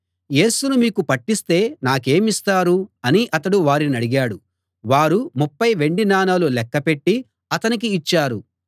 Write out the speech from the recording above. యేసును మీకు పట్టిస్తే నాకేమిస్తారు అని అతడు వారినడిగాడు వారు ముప్ఫై వెండి నాణాలు లెక్కపెట్టి అతనికి ఇచ్చారు